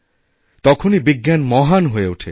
তখনই বিজ্ঞান মহান হয়ে ওঠে